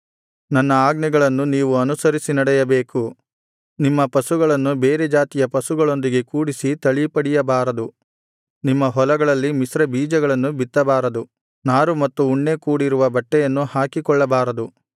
ನನ್ನ ಆಜ್ಞೆಗಳನ್ನು ನೀವು ಅನುಸರಿಸಿ ನಡೆಯಬೇಕು ನಿಮ್ಮ ಪಶುಗಳನ್ನು ಬೇರೆ ಜಾತಿಯ ಪಶುಗಳೊಂದಿಗೆ ಕೂಡಿಸಿ ತಳಿಪಡಿಯಬಾರದು ನಿಮ್ಮ ಹೊಲಗಳಲ್ಲಿ ಮಿಶ್ರಬೀಜಗಳನ್ನು ಬಿತ್ತಬಾರದು ನಾರು ಮತ್ತು ಉಣ್ಣೆ ಕೂಡಿರುವ ಬಟ್ಟೆಯನ್ನು ಹಾಕಿಕೊಳ್ಳಬಾರದು